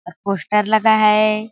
और पोस्टर लगा है।